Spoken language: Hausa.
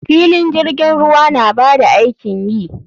Filin jirgin ruwa na ba da aikin yi.